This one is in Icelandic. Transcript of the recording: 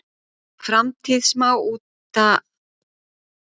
Framtíð smábátaútgerðar?